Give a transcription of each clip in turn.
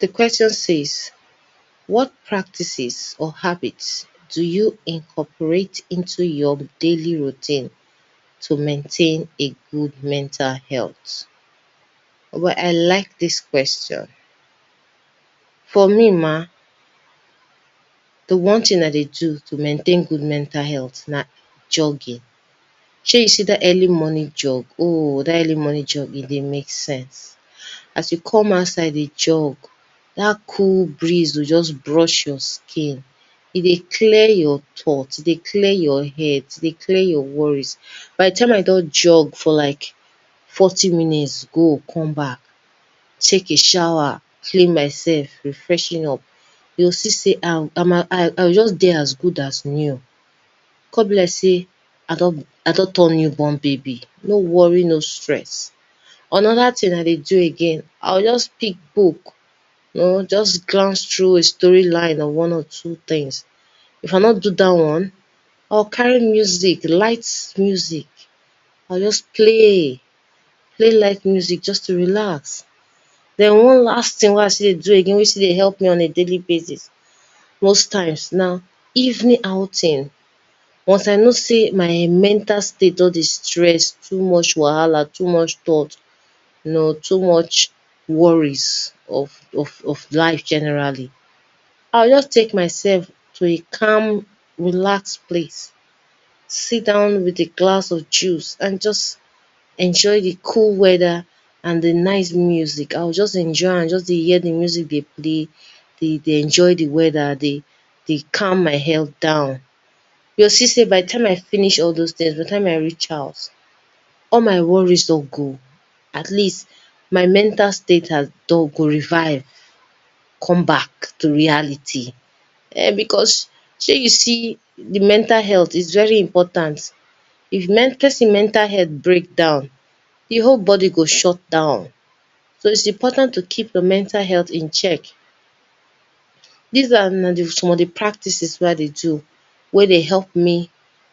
The question says what practices or habits do you incorporate into your daily routine to maintain a good mental health? O h boy I like dis question, for me ma di one thing I dey do to maintain dat mental health na jogging shey you see dat early morning jogging oh dat early morning jogging dey make sense, as you come outside dey jog, dat cold breeze go just brush your head, e dey clear your thoughts e dey clear your head, e dey clear your worries by di time I don jog for like forty minutes go come back, take a shower clean myself, re freshen up you go see sey ah my I go just dey as good as real e go just be like sey I don turn new born baby no worry no stress. Another thing I dey do too, I go just take book you know just glance through a story line, or one or two things, if I no do dat one, I go just carry music light music, I go just play light music just to relax, den one last thing wen I still dey do again wen still dey help me on a daily bases na evening outing, once I notice sey my mental state don dey stress, too much wahala, too much stress, you know too much worries, of of of life generally, I go just take myself to a calm relax place, sit down with a glass of juice and just enjoy di cold weather and di nice music, I go just enjoy am, just dey hear di nice music dey play, dey enjoy di weather dey calm my head down, you go see sey by di time I finish all doz things, by di time I reach house all my worries don go. At least all my mental state don go revive come back to reality [urn] because shey you see di mental health its very important if person mental health break down e whole body go shut down. So its important to keep your mental health in check. Dis are na some of di practices wey I dey do wey dey help me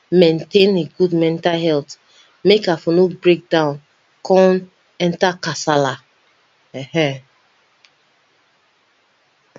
maintain a good mental health, make I no breakdown come enter kasala, ehen.